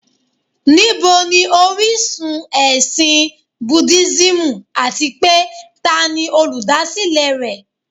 Níbo ni orísun ẹ̀sìn Búdísìmù àti pé tani olùdásílẹ̀ rẹ̀?